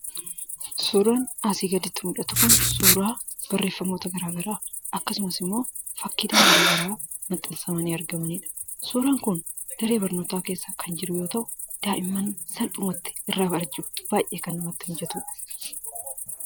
Suuraan asii gaditti mul'atu kun suuraa barreeffamoota garaagaraa akkasumas immoo fakkiileen garaagaraa maxxansamanii argamanidha. Suuraan kun daree barnootaa keessa kan jiru yoo ta'u, daa'imman salphumatti irraa barachuuf salphumatti kan salphatudha.